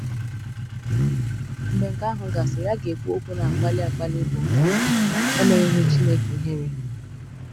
Mgbe nke àhụ gasịrị a ga-ekwu okwu na-akpali akpali bụ “Emenyeghị Chineke Ihère.